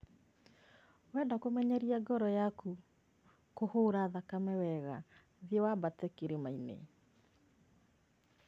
Wenda kũmenyeria ngoro yaku kũhũra thakame wega thiĩ wambate irĩma-inĩ